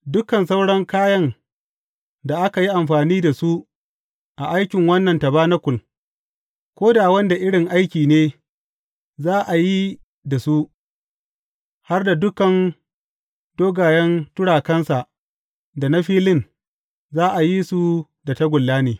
Dukan sauran kayan da aka yi amfani da su a aikin wannan tabanakul, ko da wanda irin aiki ne za a yi da su, har da dukan dogayen turakunsa da na filin, za a yi su da tagulla ne.